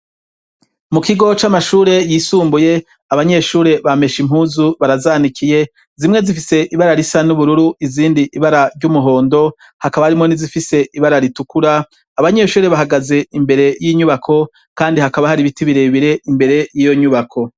Mu kigo c'amashure yisumbuye abanyeshure bameshe impuzu barazanikiye; zimwe zifise ibara risa n'ubururu izindi ibara ry'umuhondo hakaba harimo n'izifise ibara ritukura; abanyeshure bahagaze imbere y'inyubako kandi hakaba hari ibiti birebire imbere y'iyo nyubako.